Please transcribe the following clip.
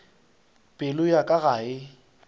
pelo ya ka ga e